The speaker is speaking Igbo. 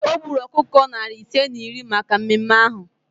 O gburu ọkụkọ narị ise na iri maka mmemme ahụ